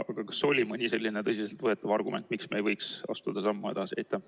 Aga kas oli mõni selline tõsiselt võetav argument, miks me ei võiks astuda sammu edasi?